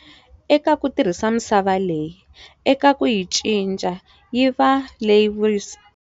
Eka ku tirhisa misava leyi, eka ku yi cinca yi va leyi vuyerisaka.